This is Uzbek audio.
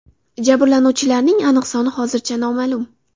Jabrlanuvchilarning aniq soni hozircha noma’lum.